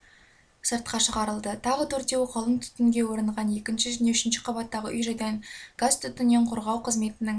сыртқа шығарылды тағы төртеуі қалың түтінге оранған екінші және үшінші қабаттағы үй-жайдан газ-түтіннен қорғау қызметінің